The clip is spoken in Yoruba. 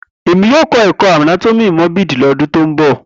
Emi yoo kọ ẹkọ anatomi morbid ni ọdun to nbọ